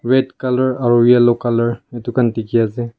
red colour aro yellow colour edu khan dikhiase.